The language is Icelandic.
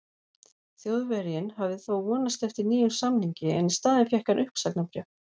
Þjóðverjinn hafði þó vonast eftir nýjum samningi en í staðinn fékk hann uppsagnarbréf.